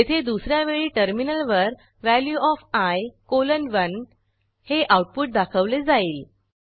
येथे दुस या वेळी टर्मिनलवर वॅल्यू ओएफ आय कॉलन 1 हे आऊटपुट दाखवले जाईल